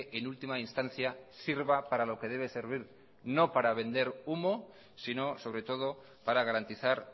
en última instancia sirva para lo que debe servir no para vender humo si no sobre todo para garantizar